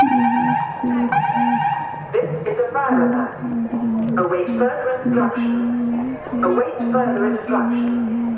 यहाँ स्कूल है| स्कूल का ग्राउंड है ग्राउंड में पेड़ पौधे लगे हुए हैं।